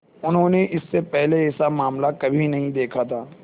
उन्होंने इससे पहले ऐसा मामला कभी नहीं देखा था